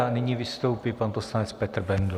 A nyní vystoupí pan poslanec Petr Bendl.